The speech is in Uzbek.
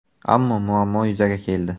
Ammo muammo yuzaga keldi.